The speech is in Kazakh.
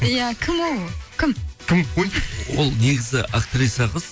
иә кім ол кім кім ой ол негізі актриса қыз